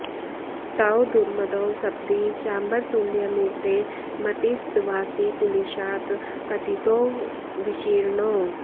तौ दुर्मदौ सपदि चाम्बर तुल्यमूर्ते मतिस्तवासिकुलिशात् पतितौ विशीर्णौ